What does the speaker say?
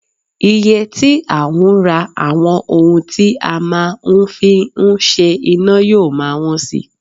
Iye tí a ń rà àwọn ohun tí a máa ń fi ń ṣe iná yóò máa wọ́n si